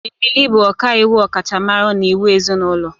Emily bụ ọkàiwu ọkachamara na iwu ezinụlọ.